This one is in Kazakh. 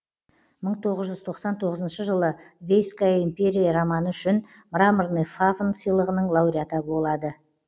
мың тоғыз жүз тоқсан тоғызыншы жылы вейская империя романы үшін мраморный фавн сыйлығының лауреаты болады